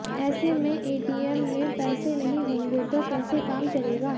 ऐसे में एटीएम में पैसे नहीं होंगे तो कैसे काम चलेगा